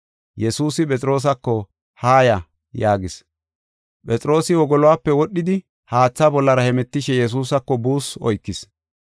Yesuusi Phexroosako, “Haaya” yaagis. Phexroosi wogoluwape wodhidi haatha bollara hemetishe Yesuusako buussu oykis.